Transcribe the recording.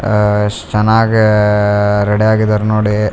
ಆಹ್ಹ್ ಎಷ್ಟ್ ಚನ್ನಾಗಿ ಆಹ್ಹ್ ರೆಡಿ ಆಗಿದಾರ್ ನೋಡಿ .